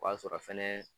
O b'a sɔrɔ fɛnɛ